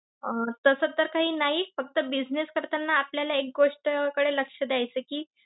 अं तस तर काही नाही फक्त business करताना आपल्याला एक गोष्टकडे लक्ष द्यायचं आहे कि,